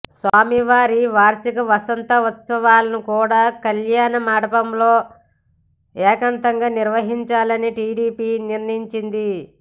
స్వామి వారి వార్షిక వసంతోత్సవాలను కూడా కళ్యాణ మండపంలో ఏకాంతంగా నిర్వహించాలని టీటీడీ నిర్ణయించింది